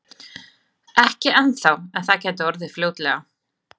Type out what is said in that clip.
Ekki ennþá en það gæti orðið fljótlega.